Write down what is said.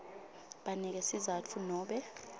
banike sizatfu nobe